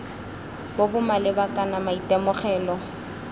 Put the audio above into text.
bo bo maleba kana maitemogelo